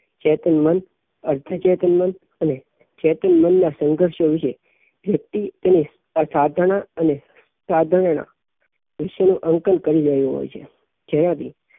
ચેતન મન અર્ધચેતન મન અને ચેતન મન નાં સંઘર્ષો વિશે વ્યક્તિ અને અસાધારણ અને સાધારણ નાં વિશે નું અંતર કરી રહ્યો હોઈ છે જેનાં થી